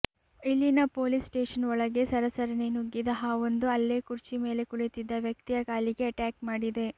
ಇಲ್ಲಿನ police station ಒಳಗೆ ಸರಸರನೆ ನುಗ್ಗಿದ ಹಾವೊಂದು ಅಲ್ಲೇ ಕುರ್ಚಿ ಮೇಲೆ ಕುಳಿತಿದ್ದ ವ್ಯಕ್ತಿಯ ಕಾಲಿಗೆ ಅಟ್ಯಾಕ್ ಮಾಡಿದೆ